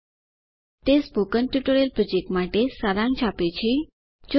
httpspoken tutorialorgWhat is a spoken tutorial તે spoken tutorial project માટે સારાંશ આપે છે